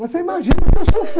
Você imagina o que eu sofri.